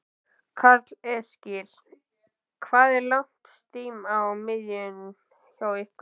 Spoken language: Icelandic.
Karl Eskil: Hvað er langt stím á miðin hjá ykkur?